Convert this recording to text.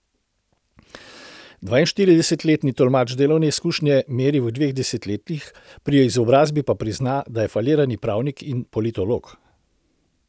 Dvainštiridesetletni tolmač delovne izkušnje meri v dveh desetletjih, pri izobrazbi pa prizna, da je falirani pravnik in politolog.